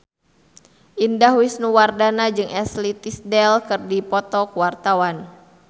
Indah Wisnuwardana jeung Ashley Tisdale keur dipoto ku wartawan